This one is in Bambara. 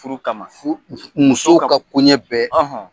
Furu kama musow ka koɲɛ bɛɛ